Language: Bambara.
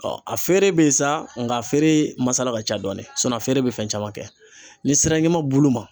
a feere bɛ yen sa, nka a feere masala ka ca dɔɔni, sɔnni , a feere bɛ fɛn caman kɛ, ni sera ɲama bulu ma